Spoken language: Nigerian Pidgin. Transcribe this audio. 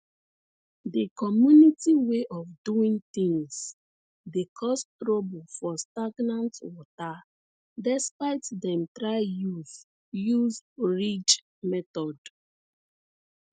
the community way of doing things dey cause trouble for stagnant water despite dem try use use ridge method